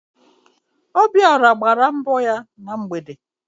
Obiọra gbara mbọ ya na mgbede